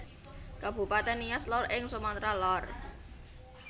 Kabupatèn Nias Lor ing Sumatra Lor